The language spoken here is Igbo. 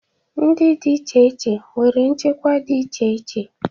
Ndị dị iche iche nwere nchekwa dị iche iche